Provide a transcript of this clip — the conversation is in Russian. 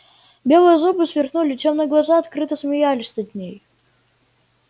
белые зубы сверкнули тёмные глаза открыто смеялись над ней